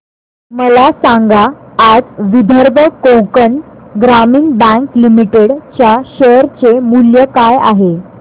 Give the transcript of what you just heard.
मला सांगा आज विदर्भ कोकण ग्रामीण बँक लिमिटेड च्या शेअर चे मूल्य काय आहे